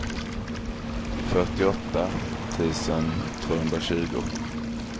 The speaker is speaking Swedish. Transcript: fyrtioåtta tusen tvåhundratjugo